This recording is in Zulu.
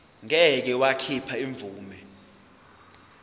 ngeke wakhipha imvume